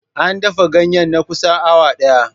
An dafa ganyen na kusan awa ɗaya.